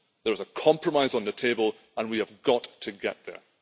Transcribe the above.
There is a compromise on the table and we have got to get there.